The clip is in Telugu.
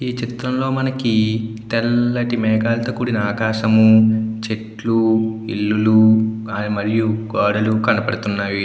ఈ చిత్రం లో మనకి తెల్లటి మేఘాలతో కూడిన ఆకాశము చెట్లు ఇల్లులు మరియు గోడలు కనబడుతున్నాయి.